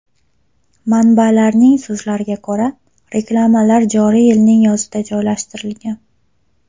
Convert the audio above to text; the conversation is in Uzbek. Manbalarning so‘zlariga ko‘ra, reklamalar joriy yilning yozida joylashtirilgan.